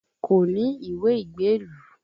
Kò ní ìwé ìgbélú